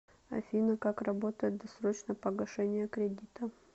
афина как работает досрочное погашение кредита